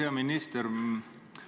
Hea minister!